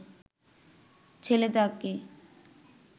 ছেলে তাকে